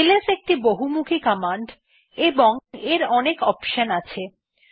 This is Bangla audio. এলএস একটি খুব বহমুখি কমান্ড এবং এর অনেক অপশন আছে